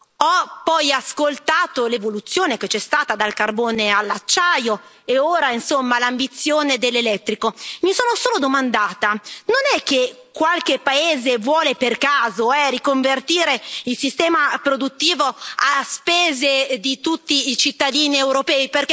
Ho poi ascoltato l'evoluzione che c'è stata dal carbone all'acciaio e ora, insomma, l'ambizione dell'elettrico. Mi solo sono domandata non è che qualche paese vuole, per caso, riconvertire il sistema produttivo a spese di tutti i cittadini europei?